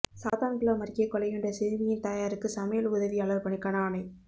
சாத்தான்குளம் அருகே கொலையுண்ட சிறுமியின் தாயாருக்கு சமையல் உதவியாளா் பணிக்கான ஆணை